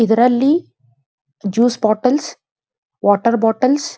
ಇದರಲ್ಲಿ juice bottles water bottles --